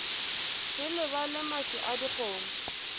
se lebale maswi a dikgomo